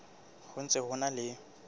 ho ntse ho na le